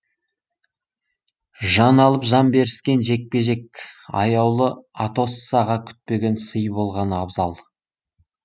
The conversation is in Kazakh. жан алып жан беріскен жекпе жек аяулы атоссаға күтпеген сый болғаны абзал